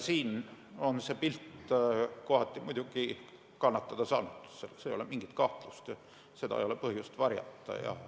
See pilt on kohati muidugi kannatada saanud, selles ei ole mingit kahtlust, seda ei ole põhjust varjata.